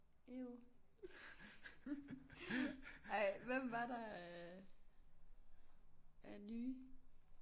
Eww ej hvem var der af af nye